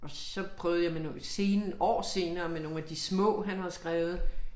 Og så prøvede jeg med noget scenen år senere med nogle af de små han har skrevet